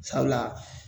Sabula